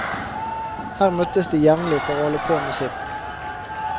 Her møtes de jevnlig for å holde på med sitt.